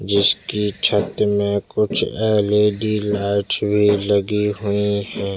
जिसकी छत में कुछ एल.ई.डी लाइट भी लगी हुई हैं।